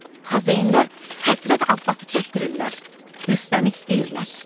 Xozenlər Həzrət Abbası çəkdirirlər, Rüstəmi istəyirlər.